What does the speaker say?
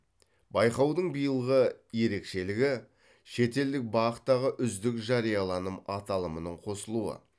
байқаудың билығы ерекшелігі шетелдік бақ тағы үздік жарияланым аталымының қосылуы